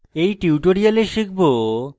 in tutorial শিখব: